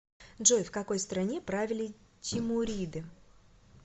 джой в какой стране правили тимуриды